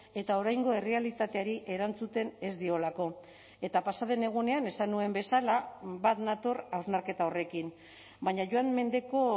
eta oraingo errealitateari erantzuten ez diolako eta pasa den egunean esan nuen bezala bat nator hausnarketa horrekin baina joan mendeko